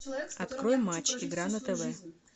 открой матч игра на тв